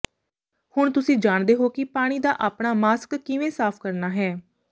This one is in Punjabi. ਹੁਣ ਤੁਸੀਂ ਜਾਣਦੇ ਹੋ ਕਿ ਪਾਣੀ ਦਾ ਆਪਣਾ ਮਾਸਕ ਕਿਵੇਂ ਸਾਫ਼ ਕਰਨਾ ਹੈ